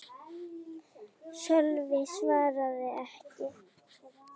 Sölvi svaraði ekki.